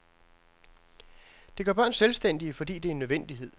Det gør børn selvstændige, fordi det er en nødvendighed.